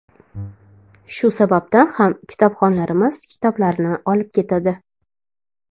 Shu sababdan ham kitobxonlarimiz kitoblarni olib ketadi.